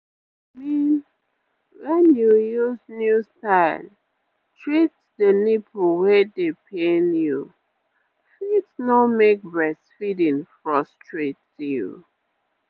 i mean wen you use new style treat the nipple wey dey pain you fit no make breastfeeding frustrate you